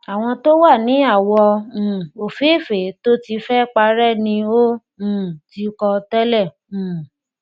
àwọn to wà ní awọ um ofeefe tó tí fẹ parẹ ni o um tí kọ tẹlẹ um